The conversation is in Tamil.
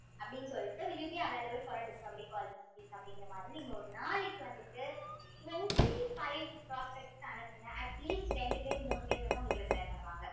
அப்படினு சொல்லிட்டு will you be available for a discovery call this week அப்படிங்கிற மாதிரி நீங்க ஒரு நாளைக்கு வந்துட்டு twenty-five prospects க்கு அனுப்புங்க atleast ரெண்டு பேர் மூணு பேர் வந்து உங்களுக்கு reply பண்ணுவாங்க